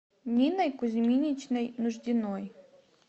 ниной кузьминичной нуждиной